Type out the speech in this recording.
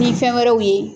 Ni fɛn wɛrɛw ye